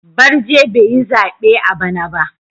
Barje bai yi zabe a bana ba.